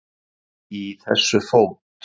Í þessu fót